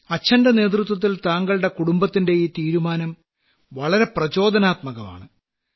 അച്ഛന്റെ നേതൃത്വത്തിൽ താങ്കളുടെ കുടുംബത്തിന്റെ ഈ തീരുമാനം വളരെ പ്രചോദനാത്മകമാണ്